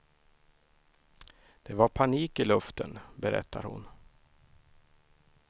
Det var panik i luften, berättar hon.